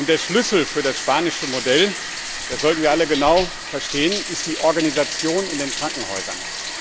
Der Schlüssel für das spanische Modell, das sollten wir alle genau verstehen, ist die Organisation in den Krankenhäusern.